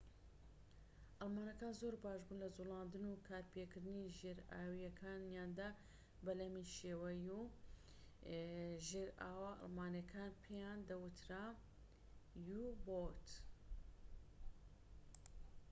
ژێرئاوە ئەڵمانیەکان پێیان دەوترا u-boat [بەلەمی شێوە یو]. ئەڵمانەکان زۆر باشبوون لە جوڵاندن و کارپێکردنی ژێرئاویەکانیاندا